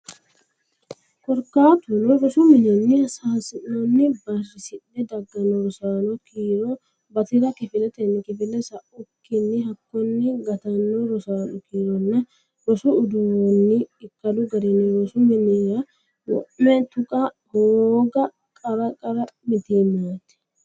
Korkaatuno rosu mininni hossannonna barrisidhe dagganno rosaano kiiro bati ra kifiletenni kifile sa ukki hakkonni gattanno rosaano kiironna rosu uduunni ikkadu garinni rosu minnara wo me tuqa hooga qara qara mitiimaati.